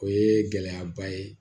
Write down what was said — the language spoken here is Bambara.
O ye gɛlɛyaba ye